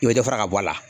I bɛ dɔ fara ka bɔ a la